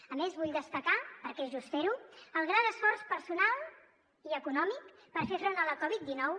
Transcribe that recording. a més vull destacar perquè és just fer ho el gran esforç personal i econòmic per fer front a la covid dinou